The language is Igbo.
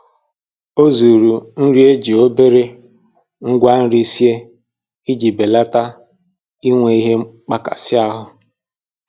Ọ zụrụ nri e ji obere ngwa nri sie iji belata inwe ihe mmkpakasị ahụ